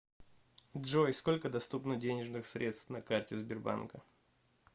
джой сколько доступно денежных средств на карте сбербанка